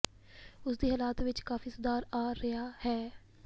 ਉਸ ਦੀ ਹਲਾਤ ਚ ਕਾਫ਼ੀ ਸੁਧਾਰ ਆ ਰਿਹਾ ਹੈ